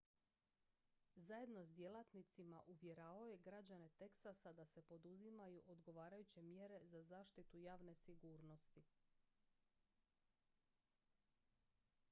zajedno s djelatnicima uvjeravao je građane teksasa da se poduzimaju odgovarajuće mjere za zaštitu javne sigurnosti